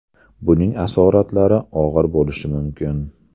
Buning asoratlari og‘ir bo‘lishi mumkin.